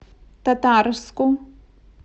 татарску